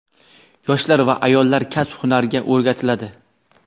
yoshlar va ayollar kasb-hunarga o‘rgatiladi.